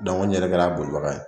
n yɛrɛ kɛra a bolibaga ye